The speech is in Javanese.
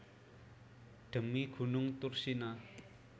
Dhemi gunung Thursina